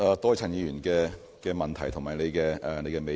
多謝陳議員的問題及你的美意。